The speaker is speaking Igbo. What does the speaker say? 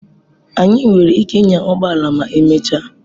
Anyị nwere ike ịnya ụgbọ ala ma emechaa.